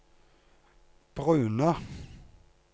brune